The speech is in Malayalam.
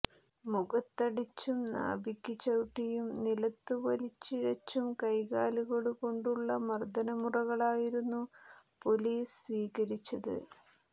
മുഖത്തടിച്ചും നാഭിക്കു ചവിട്ടിയും നിലത്തു വലിച്ചിഴച്ചും കൈകാലുകൊണ്ടുള്ള മര്ദനമുറകളായിരുന്നു പൊലീസ് സ്വീകരിച്ചത്